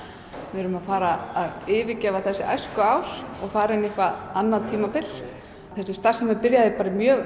við erum að fara að yfirgefa þessi æskuár og fara inn í annað tímabil þessi starfsemi byrjaði í mjög